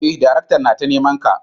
eh daraktan nata nimanka.